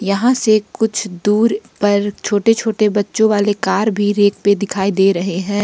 यहां से कुछ दूर पर छोटे छोटे बच्चों वाले कार भी रेक पे दिखाई दे रहे हैं।